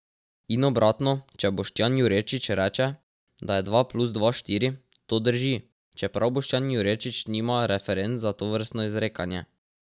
In obratno, če Boštjan Jurečič reče, da je dva plus dva štiri, to drži, čeprav Boštjan Jurečič nima referenc za tovrstno izrekanje.